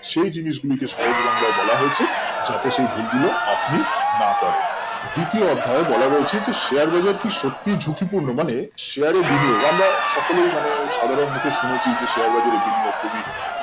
সেই জিনিসগুলিকে সহজ বাংলায় বলা হয়েছে যাতে সেই ভুল গুলো আপনি না করেন দ্বিতীয় অধ্যায়ে বলা রয়েছে যে share বাজার কি সত্যি ঝুঁকিপূন্ন মানে share এর video বা আমরা সকলেই মানে মুখে শুনেছি share বাজারের video খুবই